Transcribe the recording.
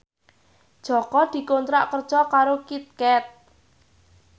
Jaka dikontrak kerja karo Kit Kat